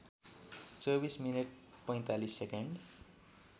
२४ minute ४५ second